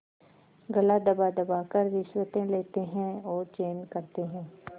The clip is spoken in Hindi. गला दबादबा कर रिश्वतें लेते हैं और चैन करते हैं